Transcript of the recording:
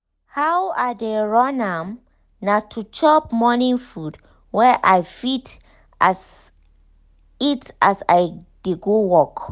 how i dey run am na to chop morning food wey i fit eat as i dey go work.